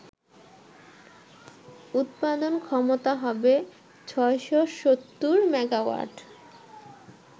উৎপাদন ক্ষমতা হবে ৬৭০ মেগাওয়াট